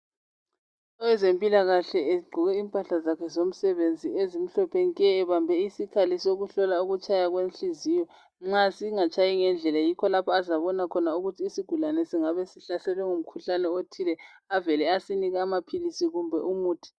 Owezempilakahle egqoke impahla zakhe zomsebenzi ezimhlophe nke ebambe isikhali sokuhlola ukutshaya kwenhliziyo. Nxa singatshayi ngendlela yikho lapho azabona khona ukuthi isigulane singabe sihlaselwe ngumkhuhlane othile avele asinike amaphilisi kumbe umuthi.